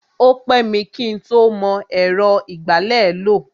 O pẹ́ mi kí ń tó mọ ẹ̀rọ ìgbálẹ̀ lò.